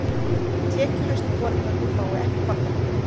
Tekjuhæstu foreldrarnir fái ekki barnabætur